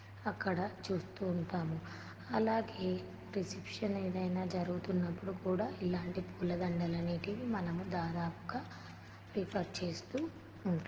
అక్కడ చూస్తూ ఉంటాము అలాగే రిసెప్షన్ ఎధైన జరుగుతున్నప్పుడు కూడా ఇలాంటి పూల దండలు అనేటివి మనము దాదాపుగా ప్రిఫర్ చేస్తూ ఉంటాము.